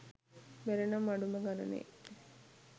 බැරිනම් අඩුම ගණනේ